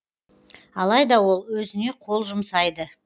алайда ол өзіне қол жұмсайды